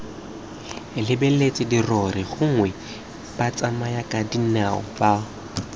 lebeletse dirori gongwe batsamayakadinao ba